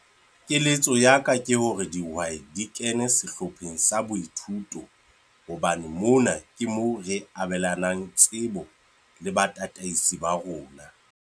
Keletso ya ka ke hore dihwai di kene sehlopheng sa boithuto hobane mona ke moo re abelanang tsebo le batataisi ba rona.